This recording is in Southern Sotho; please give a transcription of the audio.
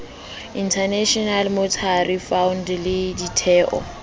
international monetary fund le ditheo